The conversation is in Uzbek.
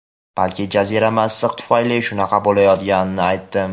balki jazirama issiq tufayli shunaqa bo‘layotganini aytdim.